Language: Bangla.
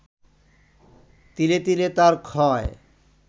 তিলে তিলে তার ক্ষয়